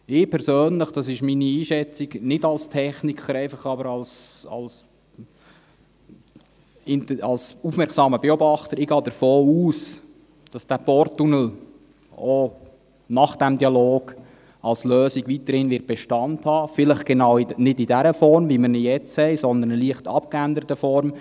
Ich persönlich – das ist meine Einschätzung nicht als Techniker, sondern einfach als aufmerksamer Beobachter – gehe davon aus, dass der Porttunnel auch nach dem Dialog als Lösung weiterhin Bestand haben wird, vielleicht nicht genau in dieser Form, wie wir ihn jetzt haben, sondern in einer leicht abgeänderten Form.